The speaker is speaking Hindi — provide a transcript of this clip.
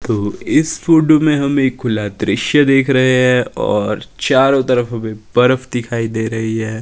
तो इस फोटो में हम एक खुला दृश्य देख रहे हैं और चारों तरफ हमें बर्फ दिखाई दे रही है।